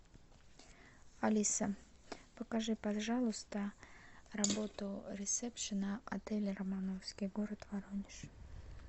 алиса покажи пожалуйста работу ресепшена отеля романовский город воронеж